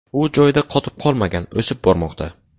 U joyida qotib qolmagan, o‘sib bormoqda.